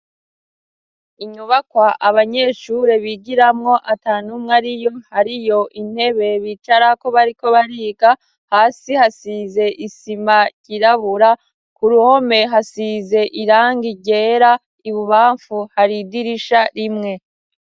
Inyubakwa abanyeshure bigiramwo atantumwe ariyo hariyo intebe bicarako bariko bariga, hasi hasize isima yirabura, k'uruhome hasize irangi ryera, ibubamfu har'idirisha rimwe.